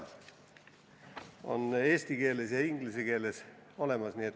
See on olemas eesti keeles ja inglise keeles.